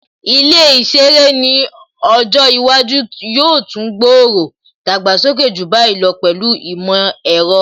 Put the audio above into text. Ilé ìṣeré ni ọjọ́ iwájú yóò tún gbòòrò/ dàgbàsókè ju báyìí lọ pẹ̀lú ìmọ̀ ẹ̀rọ